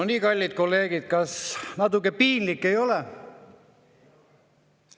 No nii, kallid kolleegid, kas natuke piinlik ei ole?